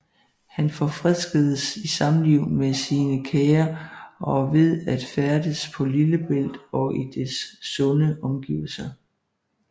Han forfriskedes i samliv med sine kære og ved at færdes på Lillebælt og i dets sunde omgivelser